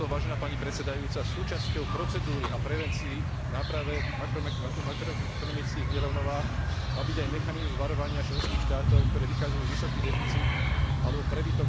Súčasťou procedúry a prevencií náprave makroekonomických nerovnováh má byť aj mechanizmus varovania členských štátov, ktoré vykazujú vysoký deficit alebo prebytok bežného účtu.